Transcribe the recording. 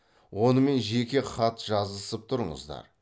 онымен жеке хат жазысып тұрыңыздар